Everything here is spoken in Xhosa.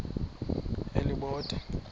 elibode